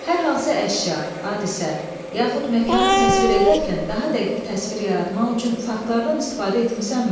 Hər hansı əşya, hadisə, yaxud məkanı təsvir edərkən daha dəqiq təsvir yaratmaq üçün faktlardan istifadə etmisənmi?